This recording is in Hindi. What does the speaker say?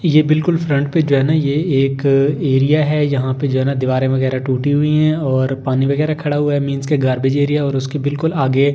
ये बिल्कुल फ्रंट पे जो है ना ये एक एरिया है यहाँ पे जो है ना दीवारें वगैरह टूटी हुई हैं और पानी वगैरह खड़ा हुआ है मींस के गार्बेज एरिया और उसके बिल्कुल आगे--